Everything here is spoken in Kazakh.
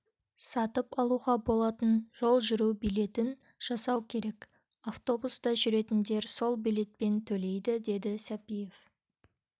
сатып алуға болатын жол жүру билетін жасау керек автобуста жүретіндер сол билетпен төлейді деді сәпиев